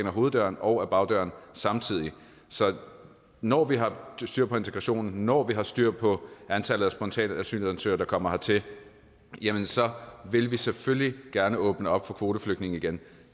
ad hoveddøren og ad bagdøren samtidig så når vi har styr på integrationen og når vi har styr på antallet af spontane asylansøgere der kommer hertil jamen så vil vi selvfølgelig gerne åbne op for kvoteflygtninge igen